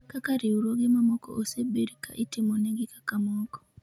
kaka riwruoge mamoko osebed ka itimonegi kaka meko